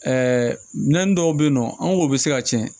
minɛn dɔw bɛ yen nɔ an ko bi se ka tiɲɛ